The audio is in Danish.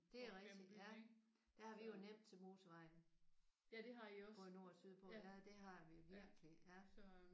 Det er rigtigt ja. Der har vi jo nemt til motorvejen både nord og sydpå. Ja det har vi virkelig ja